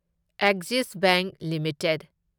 Axis Bank limited